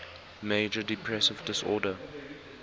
major depressive disorder